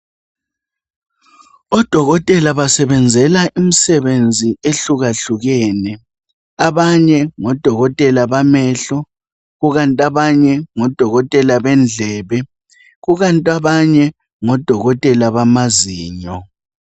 Odokotela basebenzela imisebenzi ehlukahlukeneyo abanye ngodokotela bamehlo kukanti abanye ngodokotela bendlebe kukanti abanye ngodokotela bamazinyo